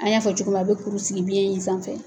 An y'a fɔ cogo min na a bɛ kuru sigi biɲɛ in sanfɛ.